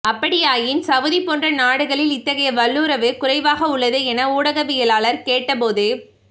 அப்படியாயின் Saudi போன்ற நாடுகளில் இத்தகைய வல்லுறவு குறைவாக உள்ளதே என ஊடகவியலாளர் கேட்ட போது